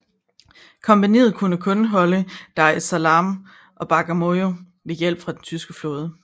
Kompagniet kunne kun holde Dar es Salaam og Bagamoyo med hjælp fra den tyske flåde